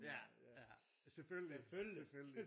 Ja ja selvfølgelig selvfølgelig